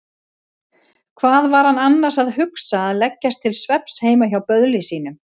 Hvað var hann annars að hugsa að leggjast til svefns heima hjá böðli sínum?